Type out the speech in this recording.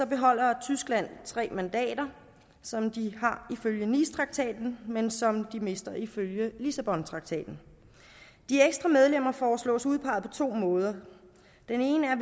beholder tyskland tre mandater som de har ifølge nicetraktaten men som de mister ifølge lissabontraktaten de ekstra medlemmer foreslås udpeget på to måder den ene er